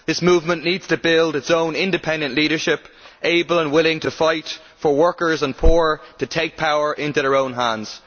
This movement needs to build its own independent leadership, able and willing to fight for workers and poor, to take power into their own hands.